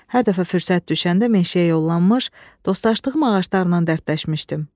Hər dəfə fürsət düşəndə meşəyə yollanmış, dostlaşdığım ağaclarla dərdləşmişdim.